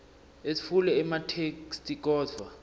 etfule ematheksthi kodvwa